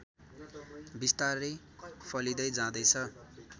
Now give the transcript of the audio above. बिस्तारै फैलिँदै जाँदैछ